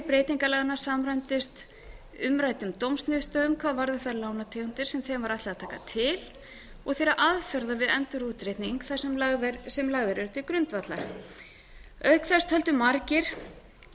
hvort efni breytingalaganna samræmdist umræddum dómsniðurstöðum hvað varðar þær lánategundir sem þeim var ætlað að taka til og þeirra aðferða við endurútreikning sem lagðar eru til grundvallar auk þess töldu margir þörf á